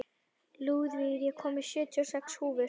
Lúðvíg, ég kom með sjötíu og sex húfur!